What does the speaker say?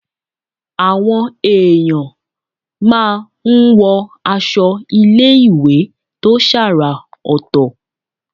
Àwọn èèyàn máa ń wọ aṣọ iléèwé tó ṣàrà ọ̀tọ̀